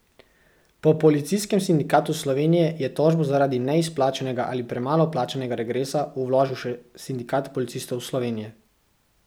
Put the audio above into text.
Po Policijskem sindikatu Slovenije je tožbo zaradi neizplačanega ali premalo plačanega regresa vložil še Sindikat policistov Slovenije.